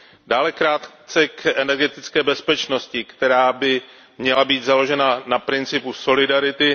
Dále krátce k energetické bezpečnosti, která by měla být založena na principu solidarity.